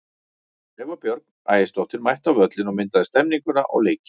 Eva Björk Ægisdóttir mætti á völlinn og myndaði stemmninguna og leikinn.